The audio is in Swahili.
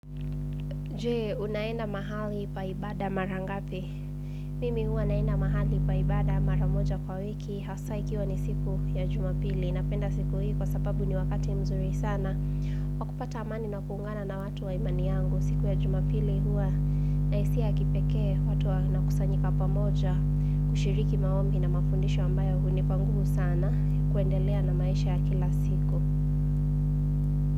Je, unaenda mahali pa ibada mara ngapi? Mimi huwa naenda mahali pa ibada mara moja kwa wiki, hasa ikiwa ni siku ya jumapili. Napenda siku hii kwa sababu ni wakati mzuri sana. Wakupata amani na kuungana na watu wa imani yangu. Siku ya jumapili huwa na hisia ya kipekee watu wanakusanyika pamoja, kushiriki maombi na mafundisho ambayo hunipa nguvu sana, kuendelea na maisha ya kila siku.